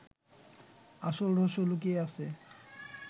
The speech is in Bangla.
আসল রহস্য লুকিয়ে আছে